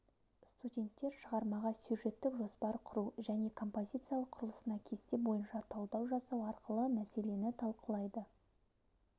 студенттер шығармаға сюжеттік жоспар құру және композициялық құрылысына кесте бойынша талдау жасау арқылы мәселені талқылайды